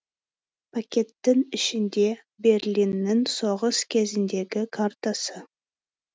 пакеттің ішінде берлиннің соғыс кезіндегі картасы